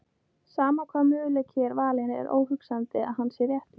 Sama hvaða möguleiki er valinn er óhugsandi að hann sé réttur.